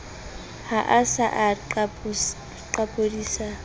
ha a sa a qapodisa